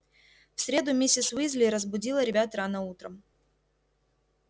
в среду миссис уизли разбудила ребят рано утром